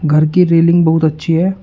घर की रेलिंग बहुत अच्छी हैं।